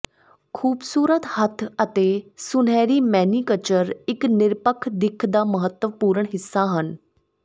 ਖੂਬਸੂਰਤ ਹੱਥ ਅਤੇ ਸੁਨਹਿਰੀ ਮੇਨੀਕਚਰ ਇੱਕ ਨਿਰਪੱਖ ਦਿੱਖ ਦਾ ਮਹੱਤਵਪੂਰਣ ਹਿੱਸਾ ਹਨ